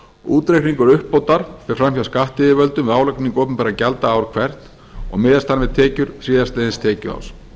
útreikningur uppbótar fer fram hjá skattyfirvöldum við álagningu opinberra gjalda ár hvert og miðast hann við tekjur síðastliðins tekjuárs